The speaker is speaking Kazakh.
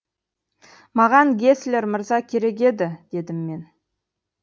маған геслер мырза керек еді дедім мен